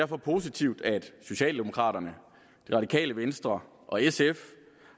positivt at socialdemokraterne det radikale venstre og sf